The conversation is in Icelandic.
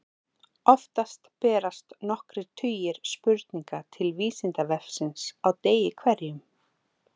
Oftast berast nokkrir tugir spurninga til Vísindavefsins á degi hverjum.